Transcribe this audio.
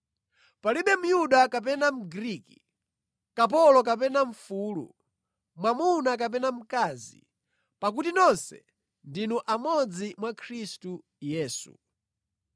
Palibe Myuda kapena Mgriki, kapolo kapena mfulu, mwamuna kapena mkazi, pakuti nonse ndinu amodzi mwa Khristu Yesu.